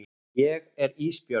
Ég er Ísbjörg.